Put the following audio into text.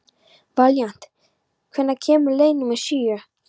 Valíant, hvenær kemur leið númer sjö?